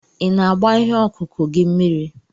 Ị na-agba ihe ọkụkụ gị mmiri?